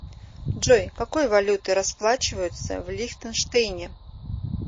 джой какой валютой расплачиваются в лихтенштейне